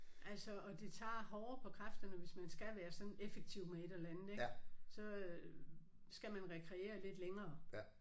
Altså og det tager hårdere på kræfterne hvis man skal være sådan effektiv med et eller andet ik så øh skal man rekreere lidt længere